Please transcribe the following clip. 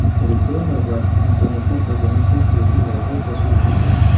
Elektron navbat, internetdan foydalanish uchun bepul WiFi tashkil etilgan.